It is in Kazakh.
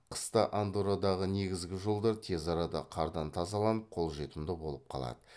қыста андоррадағы негізгі жолдар тез арада қардан тазаланып қол жетімді болып қалады